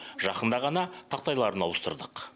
жақында ғана тақтайларын ауыстырдық